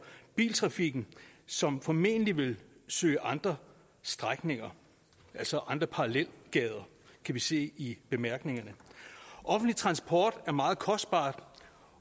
biltrafikken som formentlig vil søge andre strækninger altså andre parallelgader kan vi se i bemærkningerne offentlig transport er meget kostbar